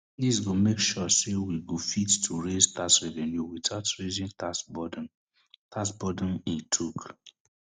dis go mek sure say we go fit to raise tax revenue witout raising tax burden tax burden im tok